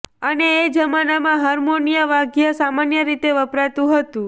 અને એ જમાનામાં હારમોનિયમ વાદ્ય સામાન્ય રીતે વપરાતું હતું